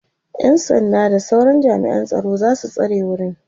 ƴan sanda da sauran jami'an tsaro zasu tsare wurin